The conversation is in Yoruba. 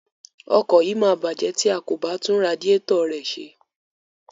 Ọkọ̀ yìí máa bàjẹ́ tí a kò bá tún radiẹ́tọ̀ rẹ̀ ṣe.